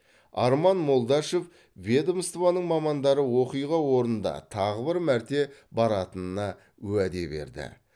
арман молдашев ведомствоның мамандары оқиға орнында тағы бір мәрте баратынына уәде берді